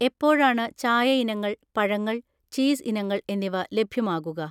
എപ്പോഴാണ് ചായ ഇനങ്ങൾ, പഴങ്ങൾ, ചീസ് ഇനങ്ങൾ എന്നിവ ലഭ്യമാകുക